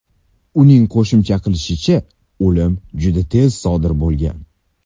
Uning qo‘shimcha qilishicha, o‘lim juda tez sodir bo‘lgan.